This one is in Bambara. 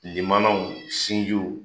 Limanaw sinjiw